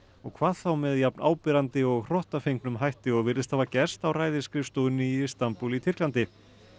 hvað þá með jafn áberandi og hrottafengnum hætti og virðist hafa gerst á ræðisskrifstofunni í Istanbúl í Tyrklandi